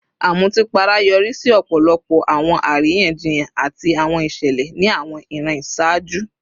Amutipara yori si ọpọlọpọ awọn ariyanjiyan ati awọn iṣẹlẹ ni awọn iran iṣaaju